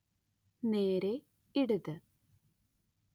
നേരേ ഇടത്